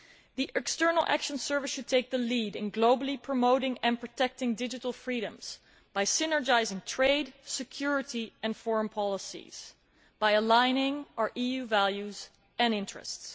The External Action Service should take the lead in globally promoting and protecting digital freedoms by synergising trade, security and foreign policies, and by aligning our EU values and interests.